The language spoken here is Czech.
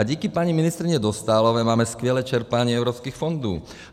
A díky paní ministryni Dostálové máme skvělé čerpání evropských fondů.